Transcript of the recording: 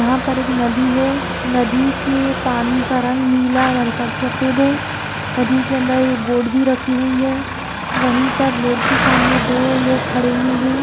यहाँ पर एक नदी है नदी के पानी का रंग नीला और हल्का सफेद है नदी के अंदर एक बोट भी रखी हुई है वहीं पर बोट के सामने दो लोग खड़े हुए हैं।